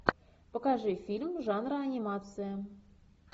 покажи фильм жанра анимация